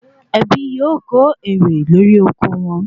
Ẹbí yóò ko ere lori oko won